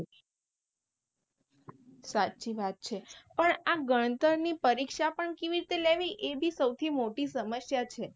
સાચી વાત છે પણ આ ગણતર ની પરીક્ષા પણ કેવી રીતે લેવી એ બી સૌથી મોટી સમસ્યા છે.